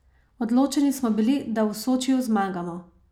Odločeni smo bili, da v Sočiju zmagamo.